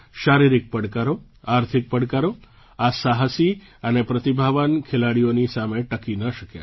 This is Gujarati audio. શારીરિક પડકારો આર્થિક પડકારો આ સાહસી અને પ્રતિભાવાન ખેલાડીઓની સામે ટકી ન શક્યા